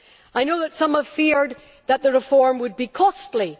I know that some have feared that the reform would be costly